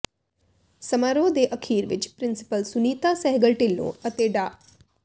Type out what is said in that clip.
ਸਮਾਰੋਹ ਦੇ ਅਖੀਰ ਵਿੱਚ ਪ੍ਰਿੰਸੀਪਲ ਸੁਨੀਤਾ ਸਹਿਗਲ ਢਿੱਲੋਂ ਅਤੇ ਡਾ